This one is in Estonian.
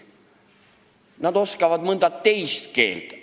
Nad oskavad mõnda teist keelt.